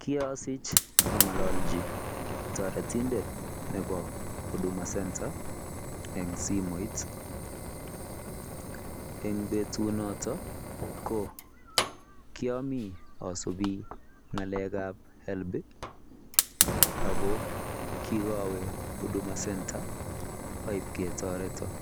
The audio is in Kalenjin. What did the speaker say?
Kiasiich angalaljii taretindeet nebo huduma center en simoit eng betut notoon ko kimii asubii ngalek ab [HELB] ako kikawe huduma center ib ketoretaa